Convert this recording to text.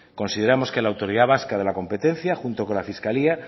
consideramos que la autoridad vasca de la competencia junto con la fiscalía